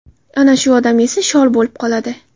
Ana shuni odam yesa shol bo‘lib qoladi .